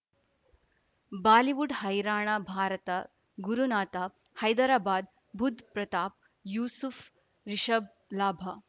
Bollywood ಹೈರಾಣ ಭಾರತ ಗುರುನಾಥ ಹೈದರಾಬಾದ್ ಬುಧ್ ಪ್ರತಾಪ್ ಯೂಸುಫ್ ರಿಷಬ್ ಲಾಭ